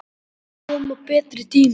Það koma betri tímar.